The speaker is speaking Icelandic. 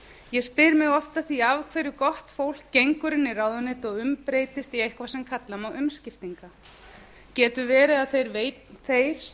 ég spyr mig oft að því af hverju gott fólk gengur inn í ráðuneyti og umbreytist í eitthvað sem kalla má umskiptinga getur verið að þeir sem